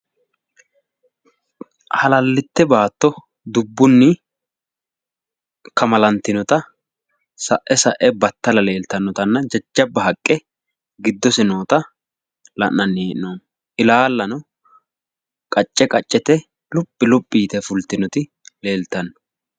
Halallitte baatto dubbunni kamalantinota sa'e sa'e battala leeltannotanna jajjabba haqqe giddose noota la'nanni hee'noommo ilaallanno qacce qaccete luphi luphi yite fultinoti leeltanno.